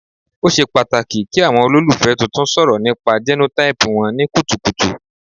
O ṣe pataki ki awọn ololufẹ tuntun sọrọ nipa genotype wọn ni kutukutu